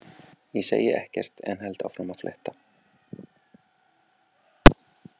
Ég segi ekkert en held áfram að fletta.